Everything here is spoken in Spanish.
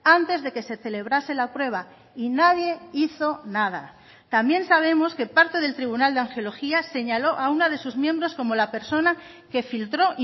antes de que se celebrase la prueba y nadie hizo nada también sabemos que parte del tribunal de angiología señaló a una de sus miembros como la persona que filtró